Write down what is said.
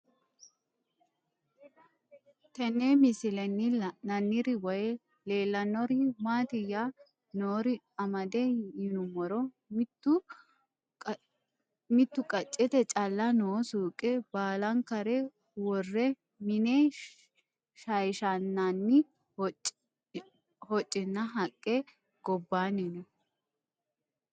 Tenne misilenni la'nanniri woy leellannori maattiya noori amadde yinummoro mittu qacceette calla noo suuqe baallankare worre mine shayishanaanni hocinna haqqe gobbaanni noo